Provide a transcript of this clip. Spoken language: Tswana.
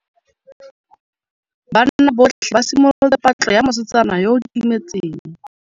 Banna botlhê ba simolotse patlô ya mosetsana yo o timetseng.